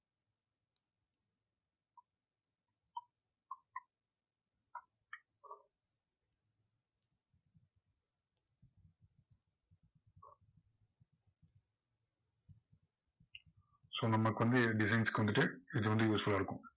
so நமக்கு வந்து designs க்கு வந்துட்டு இது வந்து useful ஆ இருக்கும்.